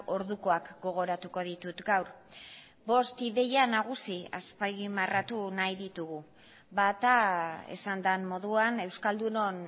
ordukoak gogoratuko ditut gaur bost ideia nagusi azpimarratu nahi ditugu bata esan den moduan euskaldunon